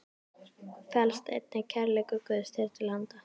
felst einnig kærleikur Guðs þér til handa.